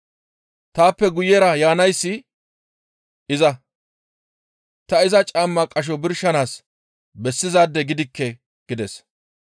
Taappe guyera yaanayssi iza; ta iza caamma qasho birshanaas bessizaade gidikke» gides.